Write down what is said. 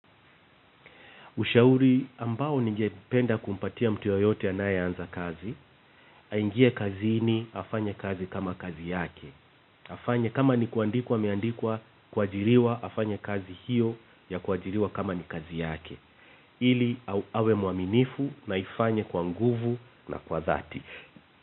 Ushauri ambao ningependa kumpatia mtu yoyote anaye anza kazi, aingie kazini afanye kazi kama kazi yake. Afanya kama ni kuandikwa ame andikwa, kuajiriwa, afanye kazi hiyo ya kuajiriwa, kama ni kazi yake. Ili awe muaminifu na aifanye kwa nguvu na kwa dhati.